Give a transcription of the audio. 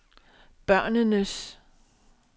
børnenes